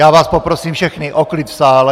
Já vás poprosím všechny o klid v sále.